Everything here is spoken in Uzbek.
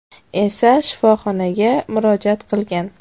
esa shifoxonaga murojaat qilgan.